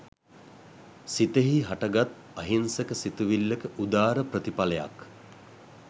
සිතෙහි හටගත් අහිංසක සිතිවිල්ලක උදාර ප්‍රතිඵලයක්